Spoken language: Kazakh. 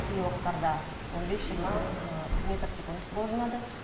кей уақыттарды он бес жиырма метр секунд болжанады